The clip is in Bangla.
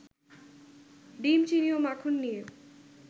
ডিম, চিনি ও মাখন নিয়ে